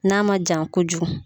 N'a man jan kojugu.